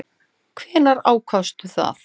Hvenær ákvaðstu það?